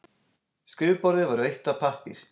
Skrifborðið var autt af pappír.